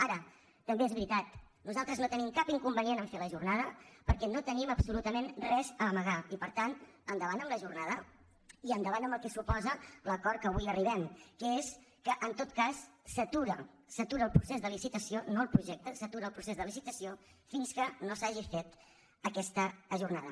ara també és veritat nosaltres no tenim cap inconvenient a fer la jornada perquè no tenim absolutament res a amagar i per tant endavant amb la jornada i endavant amb el que suposa l’acord a què avui arribem que és que en tot cas s’atura s’atura el procés de licitació no el projecte fins que no s’hagi fet aquesta jornada